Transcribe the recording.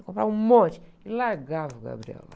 Eu comprava um monte e largava o Gabriel lá.